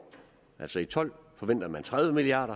altså i tolv forventer man tredive milliard